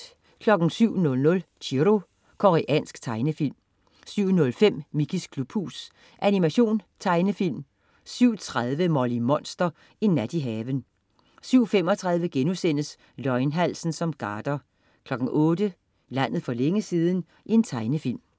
07.00 Chiro. Koreansk tegnefilm 07.05 Mickeys klubhus. Animation/Tegnefilm 07.30 Molly Monster. En nat i haven 07.35 Løgnhalsen som garder* 08.00 Landet for længe siden. Tegnefilm